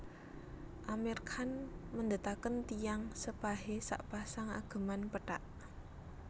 Amir Khan mendetaken tiyang sepahe sakpasang ageman pethak